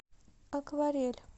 акварель